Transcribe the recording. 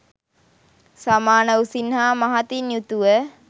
සමාන උසින් හා මහතින් යුතුව